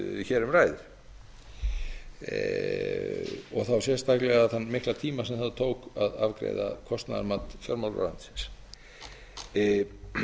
hér um ræðir og þá sérstaklega þann mikla tíma sem það tók að afgreiða kostnaðarmat fjármálaráðuneytisins og ætla